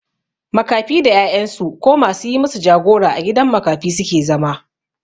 Makafi da 'ya'yan su ko ma su yi masu jagora a gidan makafi su ke zama.